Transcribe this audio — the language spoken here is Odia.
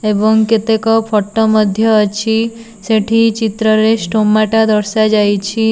ଏବଂ କେତେକ ଫଟୋ ମଧ୍ୟ ଅଛି। ସେଠି ଚିତ୍ରରେ ଷ୍ଟୋମାଟା ଦର୍ଶା ଯାଇଛି।